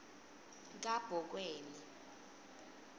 kabokweni